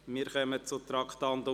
Wir kommen zum Traktandum 54: